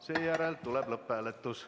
Seejärel tuleb lõpphääletus.